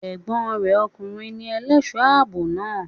Ègbón re okùnrin ni elésòó àbò naa